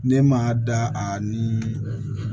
Ne m'a da a ni